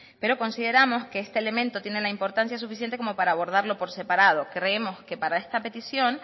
pero consideramos que este elemento tiene la importancia suficiente como para para abordarlo por separado creemos que para esta petición